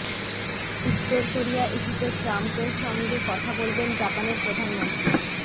উত্তর কোরিয়া ইস্যুতে ট্রাম্পের সঙ্গে কথা বলবেন জাপানের প্রধানমন্ত্রী